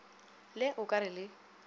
le o ka re le